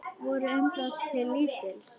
Voru umbrot hans til lítils.